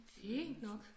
Fint nok